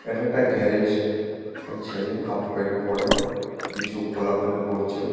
এটা একটা গ্যারেজ একটা ছেলে হাফ প্যান্ট পড়ে কিছু খোলাখুলি করছে।